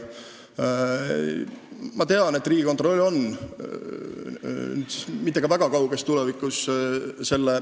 Ma tean, et ka Riigikontroll on selle teemaga tegelnud ja mitte väga kauges minevikus.